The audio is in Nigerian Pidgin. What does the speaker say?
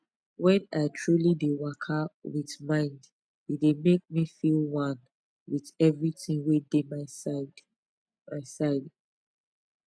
wen i truly dey waka with mind e dey make me feel one with everything wey dey my side my side